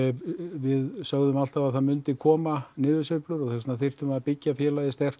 við sögðum alltaf að það myndi koma niðursveifla og þess vegna þyrftum við að byggja félagið sterkt